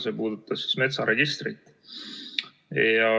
See puudutas metsaregistrit.